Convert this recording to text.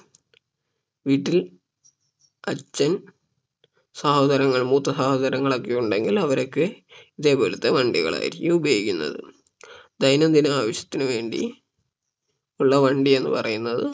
വീട്ടിൽ അച്ഛൻ സഹോദരങ്ങൾ മൂത്ത സഹോദരങ്ങൾ ഒക്കെ ഉണ്ടെങ്കിൽ അവരൊക്കെ ഇതേപോലത്ത വണ്ടികളായിരിക്കും ഉപയോഗിക്കുന്നത് ദൈനന്തിന ആവശ്യത്തിന് വേണ്ടി ഉള്ള വണ്ടി എന്ന് പറയുന്നത്